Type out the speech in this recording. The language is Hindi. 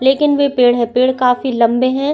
लेकिन वे पेड़ है पेड़ काफी लम्बे है।